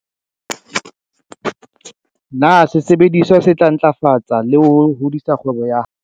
Na sesebediswa se tla ntlafatsa le ho hodisa kgwebo ya?